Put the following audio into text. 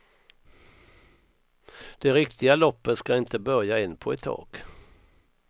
Det riktiga loppet ska inte börja än på ett tag.